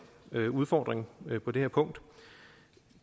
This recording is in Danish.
udfordring på det her punkt